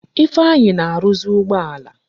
Ifeanyi na-arụzi ụgbọala.